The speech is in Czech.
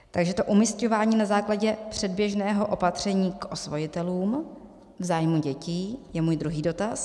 Takže to umísťování na základě předběžného opatření k osvojitelům v zájmu dětí je můj druhý dotaz.